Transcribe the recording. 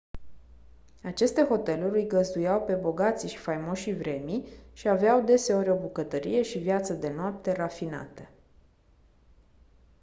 aceste hoteluri îi găzduiau pe bogații și faimoșii vremii și aveau deseori o bucătărie și viață de noapte rafinate